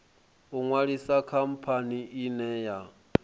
u ṅwalisa khamphani ine ya